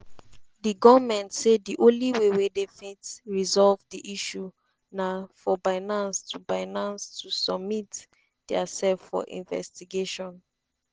di goment say di only way wey dem fit resolve di issue na for binance to binance to submit diasef for investigation.